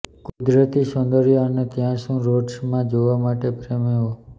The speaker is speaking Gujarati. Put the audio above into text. કુદરતી સૌંદર્ય અને ત્યાં શું રોડ્સ માં જોવા માટે પ્રેમીઓ